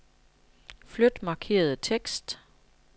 Flyt markerede tekst.